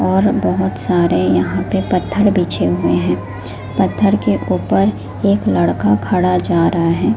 और बहुत सारे यहां पे पत्थर बिछे हुए हैं पत्थर के ऊपर एक लड़का खड़ा जा रहा है।